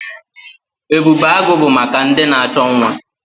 Ebubeagụ bụ maka ndị na-achọ nwa.